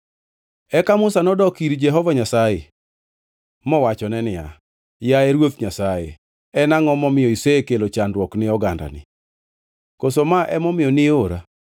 Eka Musa nodok ir Jehova Nyasaye mowachone niya, “Yaye Ruoth Nyasaye, en angʼo momiyo isekelo chandruok ni ogandani? Koso ma emomiyo ni ora?